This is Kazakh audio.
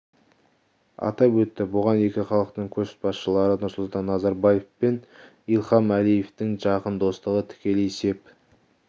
атап өтті бұған екі халықтың көшбасшылары нұрсұлтан назарбаев пен ильхам әлиевтің жақын достығы тікелей сеп